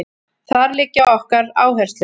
Þar liggja okkar áherslur